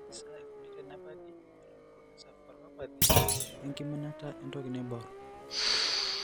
Kaji sa eikoni tenebaki eleukoencephalopathy oenkiminata entoki naibor?